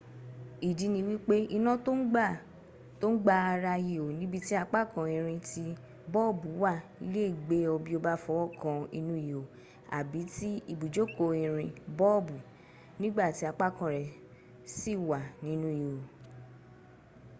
ìdí ni wípé iná tó ń gba ara ihò níbi tí apákan irin tí bọ́ọ̀bù wà le gbé ọ bí o bá fọwọ́ kan inú ihò àbí ti ibùjókòó irin bọ́ọ̀bù nígbàtí apákan rẹ̀ sì wà nínú ihò